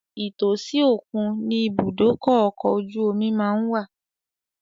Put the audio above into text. Ìtòsí òkun ni ìbúdókọ̀ ọkọ̀ ojú omi má ń wà